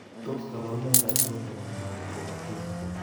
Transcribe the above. Tos kabarunaik achon chebo mycobacterium ?